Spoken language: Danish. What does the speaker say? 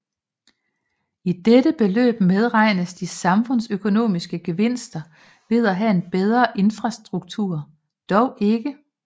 I dette beløb medregnes de samfundsøkonomiske gevinster ved at have en bedre infrastruktur dog ikke